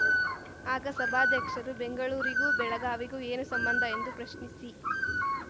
ಆಗ ಸಭಾಧ್ಯಕ್ಷರು ಬೆಂಗಳೂರಿಗೂ ಬೆಳಗಾವಿಗೂ ಏನು ಸಂಬಂಧ ಎಂದು ಪ್ರಶ್ನಿಸಿ